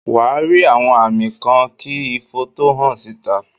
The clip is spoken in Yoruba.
Wà á rí àwọn àmì kan kí ifo tó hàn síta.